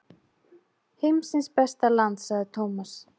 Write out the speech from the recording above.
Heimsins besta land sagði Thomas.